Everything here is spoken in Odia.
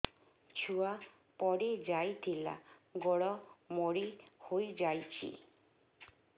ଛୁଆ ପଡିଯାଇଥିଲା ଗୋଡ ମୋଡ଼ି ହୋଇଯାଇଛି